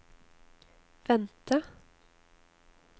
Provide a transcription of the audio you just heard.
vente